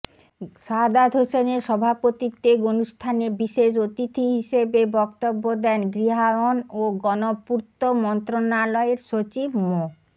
সাহাদাত হোসেনের সভাপতিত্বে অনুষ্ঠানে বিশেষ অতিথি হিসেবে বক্তব্য দেন গৃহায়ন ও গণপূর্ত মন্ত্রণালয়ের সচিব মো